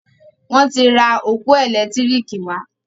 Wón tí rà ọpọ elekitiriki wá.